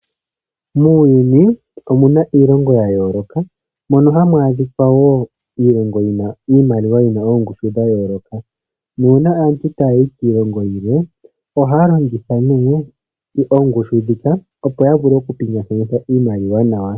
Muuyuni omuna iilongo ya yooloka, mono hamu adhikwa woo iilongo yi na iimaliwa yina oongushu dha yooloka, nuuna aantu taayi kiilongo yilwe oha ya longitha nee oongushu dhika opo ya vule okupingakanitha iimaliwa nawa.